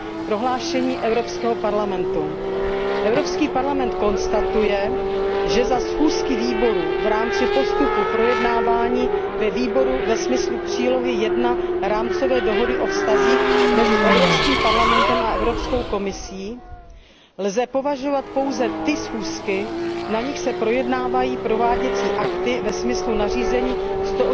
Prohlášení Evropského parlamentu Evropský parlament se domnívá, že za schůzky výborů v rámci postupu projednávání ve výboru ve smyslu přílohy I rámcové dohody o vztazích mezi Evropským parlamentem a Evropskou komisí lze považovat pouze schůzky, na nichž se projednávají prováděcí akty ve smyslu nařízení č.